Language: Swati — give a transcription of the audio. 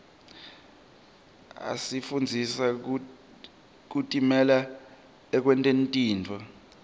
asifundzisa kutimela ekwenteni tintfo